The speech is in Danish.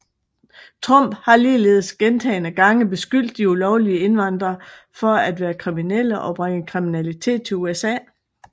Trump har ligeledes gentagende gange beskyldt de ulovlige indvandre for at være kriminelle og bringe kriminalitet til USA